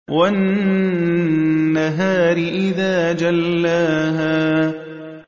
وَالنَّهَارِ إِذَا جَلَّاهَا